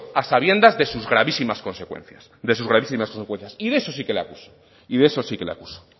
a sabiendas de sus gravísimas consecuencias de sus gravísimas consecuencias y de eso sí que le acuso y de eso sí que le acuso